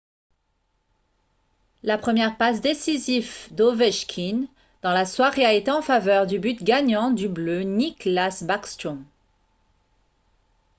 la première passe décisive d’ovechkin dans la soirée a été en faveur du but gagnant du bleu nicklas backstrom ;